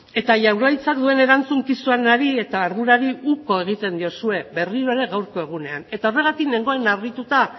eta jaurlaritzak duen erantzukizunari eta ardurari uko egiten diozue berriro ere gaurko egunean eta horregatik nengoen harrituta